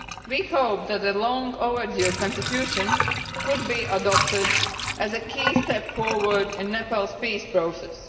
We hope that the long overdue constitution could be adopted as a key step forward in Nepal's peace process.